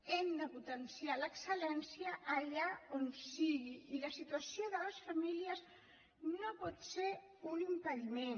hem de potenciar l’excel·lència allà on sigui i la situació de les famílies no en pot ser un impediment